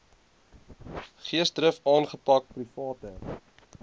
geesdrif aangepak private